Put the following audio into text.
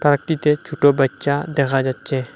পার্কটিতে ছোটো বাচ্চা দেখা যাচ্ছে।